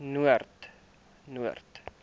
noord